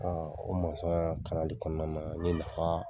o kalali kɔnɔna na ye nafa